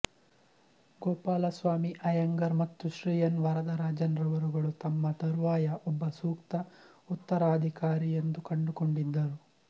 ಗೋಪಾಲಸ್ವಾಮಿ ಅಯ್ಯಂಗಾರ್ ಮತ್ತು ಶ್ರೀ ಎನ್ ವರದರಾಜನ್ ರವರುಗಳು ತಮ್ಮ ತರುವಾಯ ಒಬ್ಬ ಸೂಕ್ತ ಉತ್ತರಾಧಿಕಾರಿಯೆಂದು ಕಂಡುಕೊಂಡಿದ್ದರು